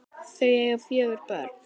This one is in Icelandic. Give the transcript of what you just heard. Þau eiga fjögur börn.